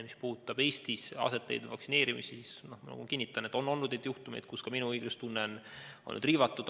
Mis puudutab Eestis aset leidvat vaktsineerimist, siis ma kinnitan, et on olnud neid juhtumeid, mille korral ka minu õiglustunnet on riivatud.